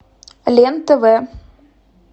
лен тв